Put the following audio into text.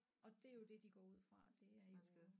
Og det er jo det de går ud fra det er jo